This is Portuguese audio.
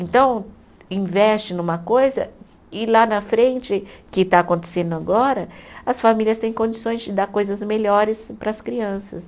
Então, investe numa coisa e lá na frente, que está acontecendo agora, as famílias têm condições de dar coisas melhores para as crianças.